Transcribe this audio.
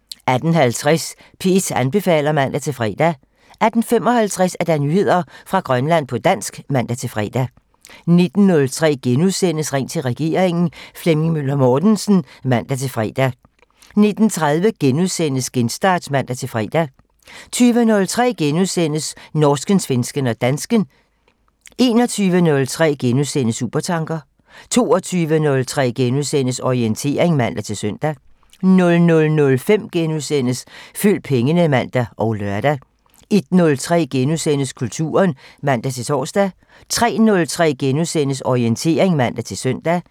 18:50: P1 anbefaler (man-fre) 18:55: Nyheder fra Grønland på dansk (man-fre) 19:03: Ring til regeringen: Flemming Møller Mortensen * 19:30: Genstart *(man-fre) 20:03: Norsken, svensken og dansken *(man) 21:03: Supertanker *(man) 22:03: Orientering *(man-søn) 00:05: Følg pengene *(man og lør) 01:03: Kulturen *(man-tor) 03:03: Orientering *(man-søn)